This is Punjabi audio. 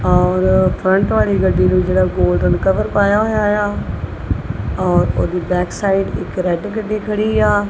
ਔਰ ਫਰੰਟ ਵਾਲੀ ਗੱਡੀ ਨੂੰ ਜਿਹੜਾ ਗੋਲਡਨ ਕਵਰ ਪਾਇਆ ਹੋਇਆ ਆ ਔਰ ਉਹਦੀ ਬੈਕ ਸਾਈਡ ਇਕ ਰੈਡ ਕੱਢੀ ਖੜੀ ਆ।